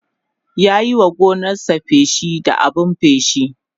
ya Yi wa gonarsa feshi da abun feshi